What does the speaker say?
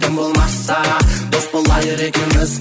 тым болмаса дос болайық екеуміз